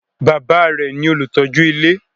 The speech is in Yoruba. Bàbá a rẹ̀ ní olùtọ́jú ilé.